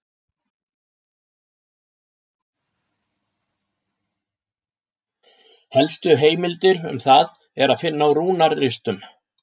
Helstu heimildir um það er að finna á rúnaristum.